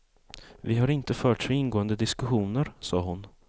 Vi har inte fört så ingående diskussioner, sade hon.